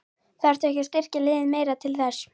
Þarftu að styrkja liðið meira til þess?